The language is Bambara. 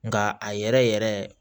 Nka a yɛrɛ yɛrɛ